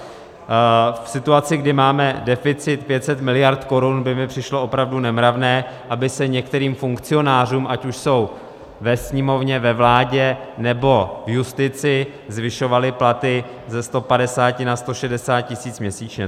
V situaci, kdy máme deficit 500 miliard korun, by mi přišlo opravdu nemravné, aby se některým funkcionářům, ať už jsou ve Sněmovně, ve vládě, nebo v justici, zvyšovaly platy ze 150 na 160 tisíc měsíčně.